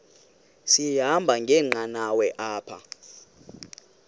sahamba ngenqanawa apha